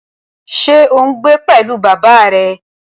Ṣé ò ń gbé pẹ̀lú bàbá rẹ?